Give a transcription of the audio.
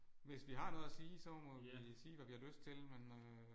Hvis vi har noget at sige så må vi sige hvad vi har lyst til men øh